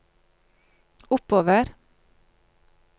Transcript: oppover